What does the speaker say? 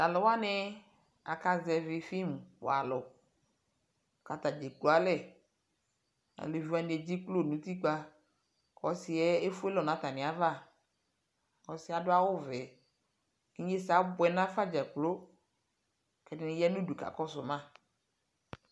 Ta lu wane ak zɛvi fim walu ka ata dza ekualɛAluvi wane edzeklo no utikpaƆsiɛ efuelɔ na atame ava Ɔsiɛ ado awuvɛ Inyesɛ abuɛ nafa dzakplo